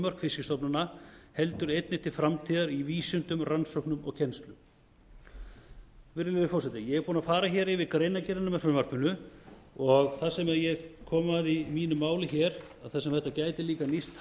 þolmörk fiskstofnana heldur einnig til framtíðar í vísindum rannsóknum og kennslu virðulegi forseti ég er búinn að fara hér yfir greinargerðina með frumvarpinu og það sem ég kom að í mínu máli hér er að þar sem þetta gæti líka nýst